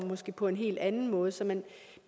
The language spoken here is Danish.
på en helt anden måde så man